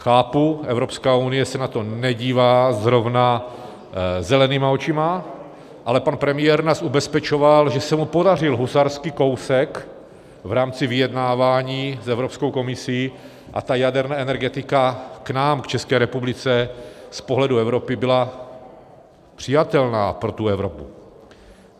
Chápu, Evropská unie se na to nedívá zrovna zelenýma očima, ale pan premiér nás ubezpečoval, že se mu podařil husarský kousek v rámci vyjednávání s Evropskou komisí, a ta jaderná energetika k nám, k České republice, z pohledu Evropy byla přijatelná pro tu Evropu.